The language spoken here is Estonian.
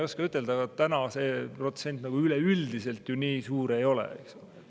Aga see protsent üleüldiselt ju nii suur ei ole.